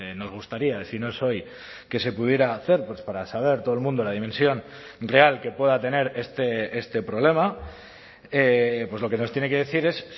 nos gustaría si no es hoy que se pudiera hacer para saber todo el mundo la dimensión real que pueda tener este problema pues lo que nos tiene que decir es